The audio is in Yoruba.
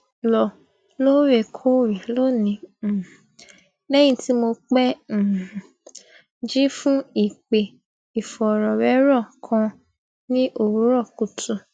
lò lóòrèkóòrè lónìí um lẹyìn tí mo pẹ um jí fún ìpè ìfòròwérò kan ní òwúrò kùtù